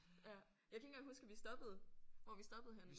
Øh jeg kan ikke engang huske at vi stoppede hvor vi stoppede henne